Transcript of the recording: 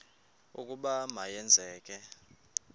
ukuba ma yenzeke